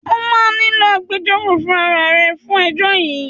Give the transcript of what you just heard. Ó máa nílò agbejọ́rò fún ara à rẹ fún ẹjọ́ yìí